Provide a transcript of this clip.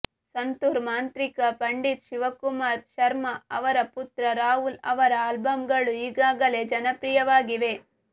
ಸಂತೂರ್ ಮಾಂತ್ರಿಕ ಪಂಡಿತ್ ಶಿವಕುಮಾರ್ ಶರ್ಮಾ ಅವರ ಪುತ್ರ ರಾಹುಲ್ ಅವರ ಆಲ್ಬಂಗಳು ಈಗಾಗಲೇ ಜನಪ್ರಿಯವಾಗಿವೆ